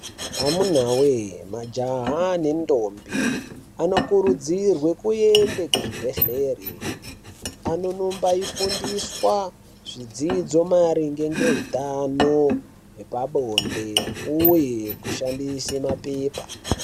Amuna wee!,majaha nentombi anokurudzirwe kuenda muzvibhedleri ,anonobafundiswa zvidzidzo maringe ngehutano hwepabonde uye kushandise mapepa.